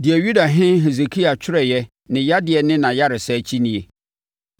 Deɛ Yudahene Hesekia twerɛeɛ ne yadeɛ ne nʼayaresa akyi nie: